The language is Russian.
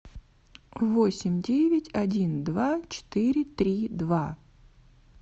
восемь девять один два четыре три два